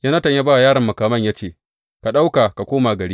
Yonatan ya ba wa yaron makaman ya ce, Ka ɗauka ka koma gari.